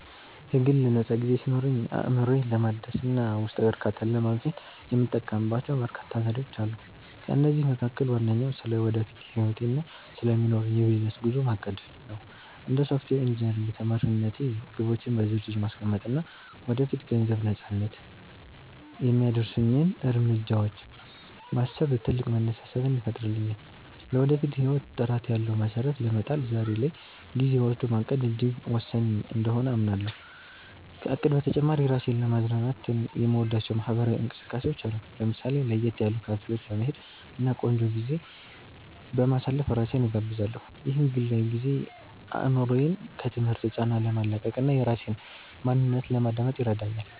የግል ነፃ ጊዜ ሲኖረኝ፣ አእምሮዬን ለማደስ እና ውስጣዊ እርካታን ለማግኘት የምጠቀምባቸው በርካታ ዘዴዎች አሉ። ከእነዚህም መካከል ዋነኛው ስለ ወደፊት ህይወቴ እና ስለሚኖረኝ የቢዝነስ ጉዞ ማቀድ (Planning) ነው። እንደ ሶፍትዌር ኢንጂነሪንግ ተማሪነቴ፣ ግቦቼን በዝርዝር ማስቀመጥ እና ወደ ገንዘብ ነፃነት (Financial Freedom) የሚያደርሱኝን እርምጃዎች ማሰብ ትልቅ መነሳሳትን ይፈጥርልኛል። ለወደፊት ህይወት ጥራት ያለው መሰረት ለመጣል ዛሬ ላይ ጊዜ ወስዶ ማቀድ እጅግ ወሳኝ እንደሆነ አምናለሁ። ከእቅድ በተጨማሪ፣ ራሴን ለማዝናናት የምወዳቸው ማህበራዊ እንቅስቃሴዎች አሉ። ለምሳሌ፣ ለየት ያሉ ካፌዎች በመሄድ እና ቆንጆ ጊዜ በማሳለፍ ራሴን እጋብዛለሁ። ይህ ግላዊ ጊዜ አእምሮዬን ከትምህርት ጫና ለማላቀቅ እና የራሴን ማንነት ለማዳመጥ ይረዳኛል